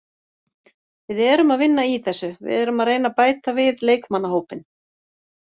Við erum að vinna í þessu, við erum að reyna að bæta við leikmannahópinn